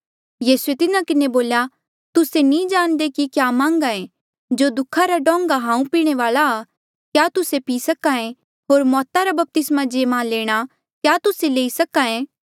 यीसूए तिन्हा किन्हें बोल्या तुस्से नी जाणदे कि क्या मान्घ्हा ऐें जो दुखा रा डोंगा हांऊँ पीणे वाल्आ आ क्या तुस्से पी सक्हा ऐें होर मौता रा बपतिस्मा जे मा लेणा क्या तुस्से लई सक्हा ऐें